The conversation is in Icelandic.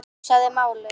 Hugsaði málið.